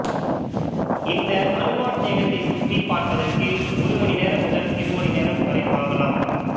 இந்த அருங்காட்சியகத்தைச் சுற்றிப் பார்ப்பதற்கு ஒரு மணி நேரம் முதல் இரு மணி நேரம் வரை ஆகலாம்